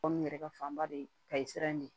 Kɔmi yɛrɛ ka fanba de ye kayi siran in de